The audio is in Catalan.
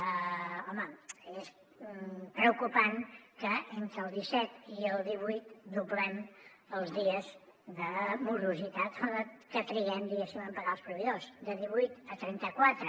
home és preocupant que entre el disset i el divuit doblem els dies de morositat que triguem diguéssim en pagar els proveïdors de divuit a trenta quatre